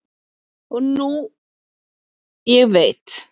og nú ég veit